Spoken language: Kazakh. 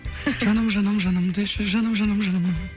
жаным жаным жаным деші жаным жаным жаным